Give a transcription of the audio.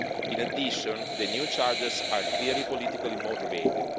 In addition, the new charges are clearly politically motivated.